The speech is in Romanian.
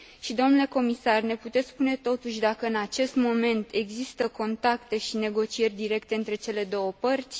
Domnule comisar, ne puteți spune, totuși, dacă în acest moment există contacte și negocieri directe între cele două părți?